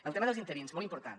el tema dels interins molt important